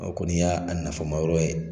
A kɔni ya a nafama yɔrɔ ye.